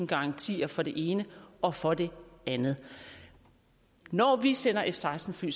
garantier for det ene og for det andet når vi sender f seksten fly